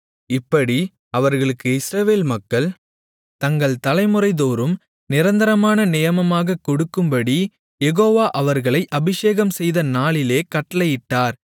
இப்படி அவர்களுக்கு இஸ்ரவேல் மக்கள் தங்கள் தலைமுறைதோறும் நிரந்தரமான நியமமாகக் கொடுக்கும்படிக் யெகோவா அவர்களை அபிஷேகம்செய்த நாளிலே கட்டளையிட்டார்